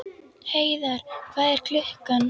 Heiðar, hvað er klukkan?